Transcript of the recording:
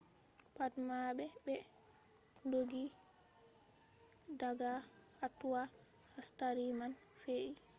pat mabbe be dooggi daga hatoi hastari man fe’i